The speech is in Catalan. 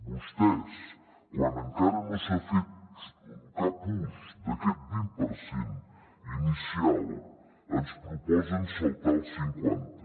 vostès quan encara no s’ha fet cap ús d’aquest vint per cent inicial ens proposen saltar al cinquanta